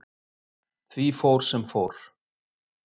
Því fór, sem fór.